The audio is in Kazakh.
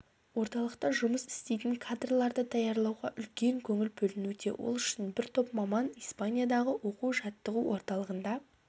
орталықта жұмыс істейтін кадрларды даярлауға үлкен көңіл бөлінуде ол үшін бір топ маман испаниядағы оқу-жаттығу орталығында